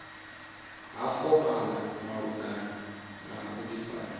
ha fomala malugana na vhudifari